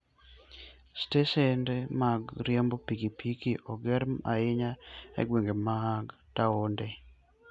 Stesen mag riembo pikipiki ong'ere ahinya e gwenge mag taonde.